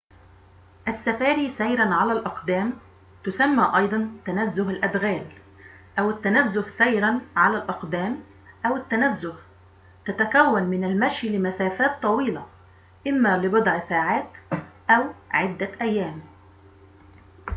السفاري سيراً على الأقدام تسمى أيضاً تنزه الأدغال أو التنزه سيراً على الأقدام أو التنزه تتكون من المشي لمسافات طويلة، إما لبضع ساعات أو عدة أيام